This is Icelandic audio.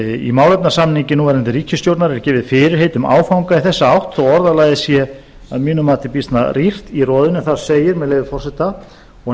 í málefnasamningi núverandi ríkisstjórnar eru gefin fyrirheit um áfanga í þessa átt þó orðalagið sé að mínu mati býsna rýrt í roðinu þar segir með leyfi forseta og